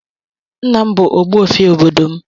Nna m bụ ogbuefi obodo m.